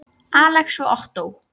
Alex og Ottó.